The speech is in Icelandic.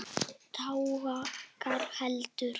Tágar héldu.